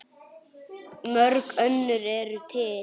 Mörg önnur eru til.